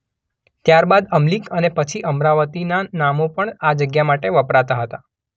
ત્યાર બાદ અમલીક અને પછી અમરાવતીનાં નામો પણ આ જગ્યા માટે વપરાતાં હતાં.